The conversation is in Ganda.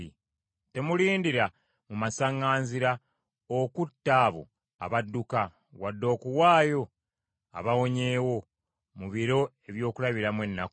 Temulindira mu masaŋŋanzira okutta abo abadduka, wadde okuwaayo abawonyeewo mu biro eby’okulabiramu ennaku.